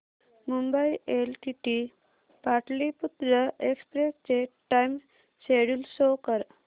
Mumbai LTT Pataliputra express चे time schedule show कर